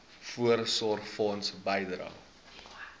voorsorgfonds bydrae